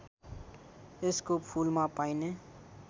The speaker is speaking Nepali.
यसको फूलमा पाइने